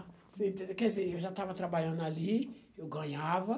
Quer dizer, eu já estava trabalhando ali, eu ganhava.